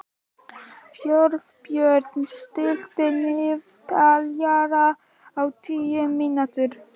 Þjóðbjörn, stilltu niðurteljara á tíu mínútur.